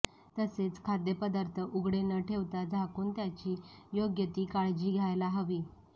तसेच खाद्यपदार्थ उघडे न ठेवता झाकून त्याची योग्यती काळजी घ्यायला हवी